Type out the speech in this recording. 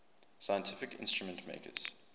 scientific instrument makers